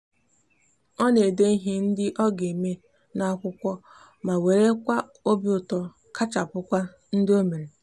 o n'ede ihe ndi oga eme n'akwukwu ma were kwa obiuto kachapukwa ndi omere